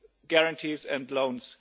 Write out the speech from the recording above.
guarantees and loans.